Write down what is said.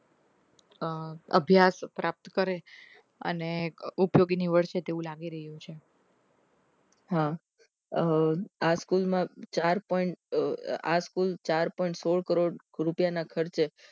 અમ અભ્યાસ પ્રાપ્ત કરે અને ઉપયોગી નીવડશે તેવું લાગી રહ્યું છે હા આ સ્કૂલમાં ચાર point સોળ કરોડ રૂપિયા ના ખર્ચ